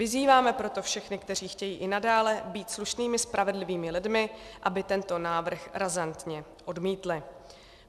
Vyzýváme proto všechny, kteří chtějí i nadále být slušnými, spravedlivými lidmi, aby tento návrh razantně odmítli.